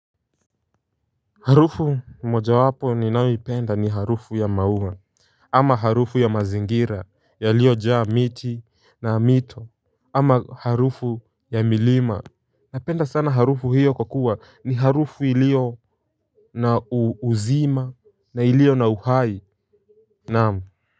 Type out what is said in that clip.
Harufu mojawapo ninayoipenda ni harufu ya maua. Ama harufu ya mazingira yaliyojaa miti na mito ama harufu ya milima. Napenda sana harufu hiyo kwa kuwa ni harufu ilio na uuzima na ilio na uhai naam.